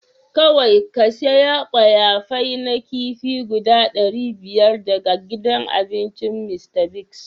Kowai ka siya kwaya fai na kifi guda dari biyar daga gidan abincin Mr.Biggs.